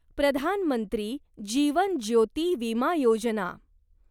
Pradhan Mantri Jeevan Jyoti Vima Yojana